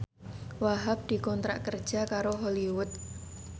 Wahhab dikontrak kerja karo Hollywood